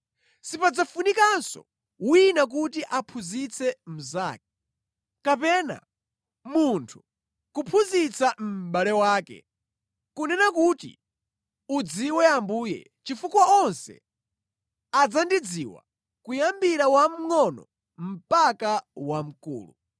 Sipadzafunikanso wina kuti aphunzitse mnzake, kapena munthu kuphunzitsa mʼbale wake, kunena kuti, udziwe Ambuye chifukwa onse adzandidziwa, kuyambira wamngʼono mpaka wamkulu.